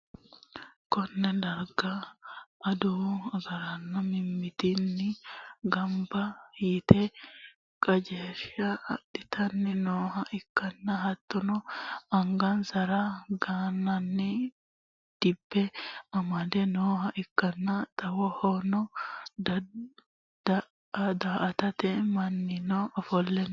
konne darga adawu agaraano mittimmatenni gamba yite qajeelsha adhitanni nooha ikkanna, hattono angansara gannanni dibbe amadde nooha ikkanna, xawohono daa'atanno mannino ofolle no.